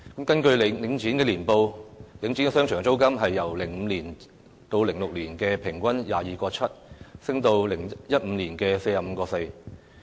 根據領展的年報，領展商場租金由 2005-2006 年度平均每呎 22.7 元，升至2015年的 45.4 元。